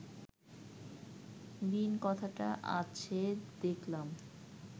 বীণ কথাটা আছে দেখলাম